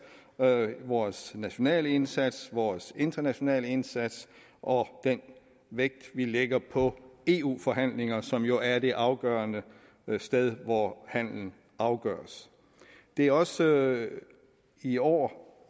vores nationale indsats vores internationale indsats og den vægt vi lægger på eu forhandlinger som jo er det afgørende sted hvor handelen afgøres det er også i år